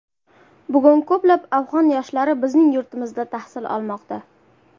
Bugun ko‘plab Afg‘on yoshlari bizning yurtimizda tahsil olmoqda.